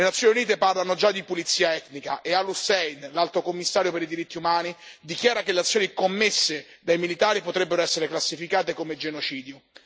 Le Nazioni Unite parlano già di pulizia etnica, e Al Hussein, l'Alto commissario per i diritti umani, dichiara che le azioni commesse dai militari potrebbero essere classificate come genocidio.